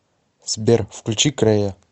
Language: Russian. сбер включи крэя